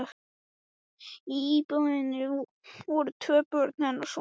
Í íbúðinni voru tvö börn hennar sofandi.